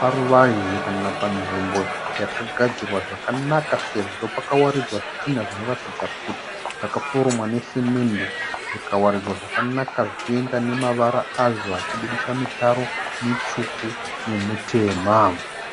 paruvazhe kana panzvimbo yakagadzirwa zvakanaka sezvo pakawaridzwa zvitinha zvinoratidza kuti zvakaforomwa nesemende zvikawaridzwa zvakanaka zvichienda nemavara azvo achiburitsa mitaro mitsvuku nemitema.